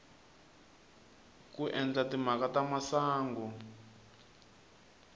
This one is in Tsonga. ku endla timhaka ta masangu